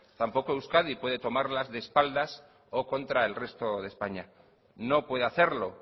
tampoco euskadi puede tomarlas de espaldas o contra el resto de españa no puede hacerlo